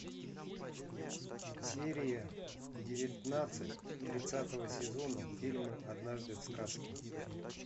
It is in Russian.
серия девятнадцать тридцатого сезона фильма однажды в сказке